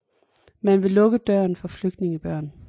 Man vil lukke døren for flygtningebørn